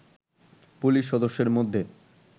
police সদস্যের মধ্যে